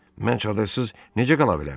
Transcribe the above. Mən çadırsız necə qala bilərəm?